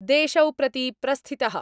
देशौ प्रति प्रस्थितः।